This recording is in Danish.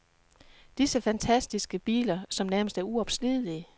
Disse fantastiske biler som nærmest er uopslidelige.